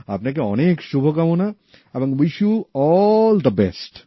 আপনাকে অনেক শুভকামনা এবং wish you all the best